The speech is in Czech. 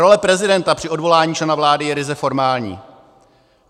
Role prezidenta při odvolání člena vlády je ryze formální.